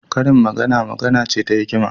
Karin magana magana ce ta hikima.